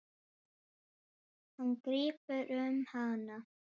Hann grípur um hana.